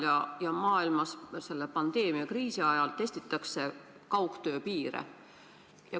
Pandeemia tekitatud eriolukorra ajal testitakse kogu maailmas kaugtöö piire.